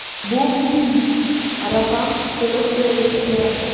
Bu muhim: raqam to‘liq terilishi kerak.